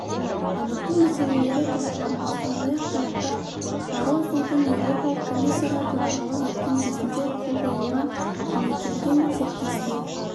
дамыту мәселелері талқыланды сондай-ақ тараптар баррозудың еуропалық комиссияға төрағалық еткен кезінде қол қойылған кеңейтілген серіктестік